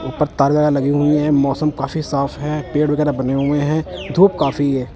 ऊपर तालिया लगी हुई है मौसम काफी साफ है पेड़ वैगैरा बने हुए है धूप काफी है।